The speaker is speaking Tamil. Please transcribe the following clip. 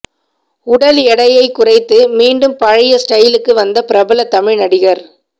உடல் எடையை குறைத்து மீண்டும் பழைய ஸ்டைலுக்கு வந்த பிரபல தமிழ் நடிகர்